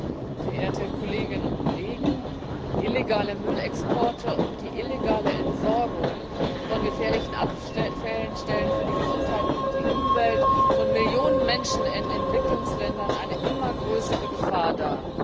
Herr Präsident, verehrte Kolleginnen und Kollegen! Illegale Müllexporte und die illegale Entsorgung von gefährlichen Abfällen stellen für die Gesundheit und die Umwelt von Millionen Menschen in Entwicklungsländern eine immer größere Gefahr dar.